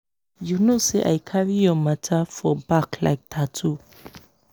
you know say i carry your matter for back like tattoo.